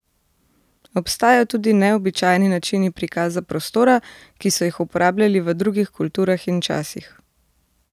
Obstajajo tudi neobičajni načini prikaza prostora, ki so jih uporabljali v drugih kulturah in časih.